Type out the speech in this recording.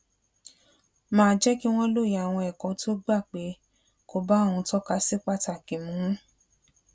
máa jé kí wón lóye àwọn èkó tó gbà pé kò bá ohun tó kà sí pàtàkì mu mu